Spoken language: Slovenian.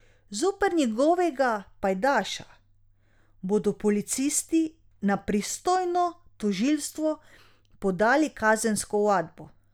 Zoper njegovega pajdaša bodo policisti na pristojno tožilstvo podali kazensko ovadbo.